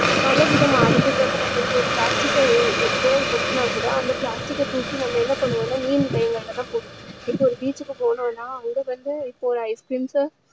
பல விதமா அடுத்தது வந்து நம்ம இப்போ ஒரு plastic cover அ உபயோகபடுத்தினா கூட அந்த plastic அ தூக்கி நம்ம என்ன பண்ணுவோம்னா நீர் நிலைகளில தான் போடுவோம் இப்போ ஒரு beach கு போறோம்னா அங்க வந்து இப்போ ஐஸ் கிரீம்ஸ்